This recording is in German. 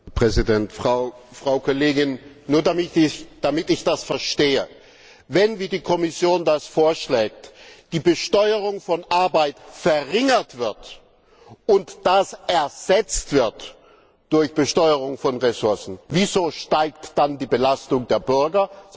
Herr Präsident, Frau Kollegin! Nur damit ich das verstehe Wenn, wie die Kommission das vorschlägt, die Besteuerung von Arbeit verringert wird und das ersetzt wird durch Besteuerung von Ressourcen, wieso steigt dann die Belastung der Bürger?